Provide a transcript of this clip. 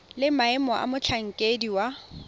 le maemo a motlhankedi wa